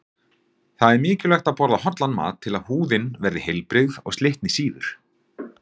Það er mikilvægt að borða hollan mat til að húðin verði heilbrigð og slitni síður.